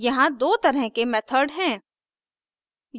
यहाँ दो तरह के मेथड हैं